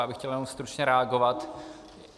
Já bych chtěl jenom stručně reagovat.